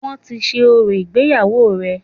Wọ́n ti ṣe orò ìgbéyàwó rẹ̀